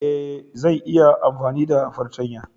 Ee, zan iya amfani da fartanya